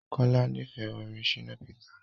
Kola n'ifẹ orin Shina Peter.